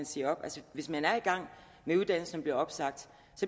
siger op altså hvis man er i gang med uddannelse bliver opsagt